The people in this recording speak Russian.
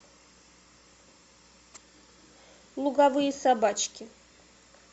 луговые собачки